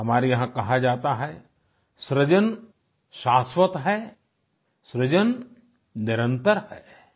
हमारे यहां कहा जाता है सृजन शास्वत है सृजन निरंतर है आई